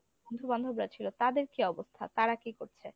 বন্ধু বান্ধবরা ছিল তাদের কি অবস্থা, তারা কি করছে?